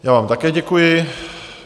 Já vám také děkuji.